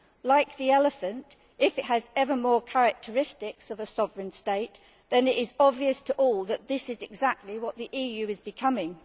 Like the elephant, if it has ever more characteristics of a sovereign state, then it is obvious to all that this is exactly what the EU is becoming.